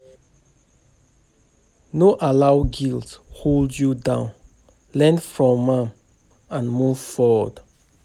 No allow guilt hold you down, learn from am and move forward.